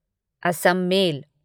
Assam mail